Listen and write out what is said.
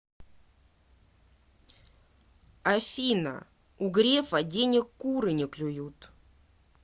афина у грефа денег куры не клюют